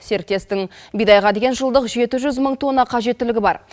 серіктестің бидайға деген жылдық жеті жүз мың тонна қажеттілігі бар